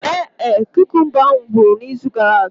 Ee e, kukumba ahu ngwuru na izu gara aga.